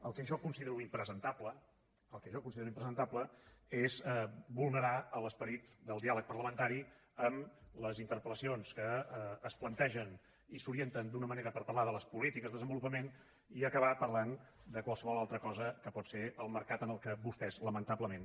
el que jo considero impresentable el que jo considero impresentable és vulnerar l’esperit del diàleg parlamentari amb les interpel·lacions que es plantegen i s’orienten d’una manera per parlar de les polítiques de desenvolupament i acabar parlant de qualsevol altra cosa que pot ser el mercat en què vostès lamentablement